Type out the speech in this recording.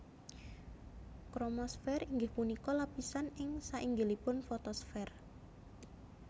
Kromosfèr inggih punika lapisan ing sainggilipun fotosfèr